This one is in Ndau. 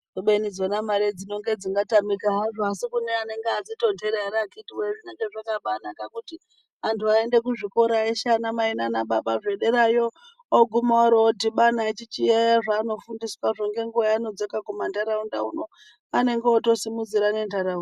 Kubebi mare dzinonga dzinotamika hadzo asi kune anenga adzitontera ere akhiti wee zvinenge zvakabaanaka kuti antu aende kuzvikora eshe ana mai nana baba zvederayo oguma oro dhibana echichiyaiya zvaanofundiswazvo ngenguwa yavanodzoka kumantaraunda uno vanenge votosimudzira nentaraunda.